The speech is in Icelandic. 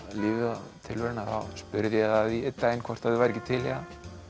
lífið og tilveruna þá spurði ég að því einn daginn hvort þau væru ekki til í að